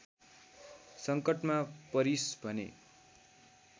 सङ्कटमा परिस् भने